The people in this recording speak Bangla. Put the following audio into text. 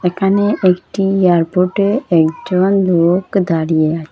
এখানে একটি এয়ারপোর্টে একজন লোক দাঁড়িয়ে আ--